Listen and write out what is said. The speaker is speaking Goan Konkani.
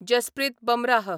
जसप्रीत बमराह